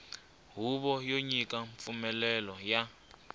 huvo yo nyika mpfumelelo ya